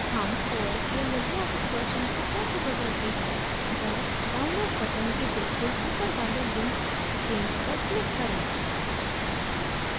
how os या LibreOffice version को कैसे बदलते हैं os download button के बिल्कुल ऊपर वाले link change पर click करें